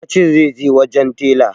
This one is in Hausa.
Ya ce zai je wajen tela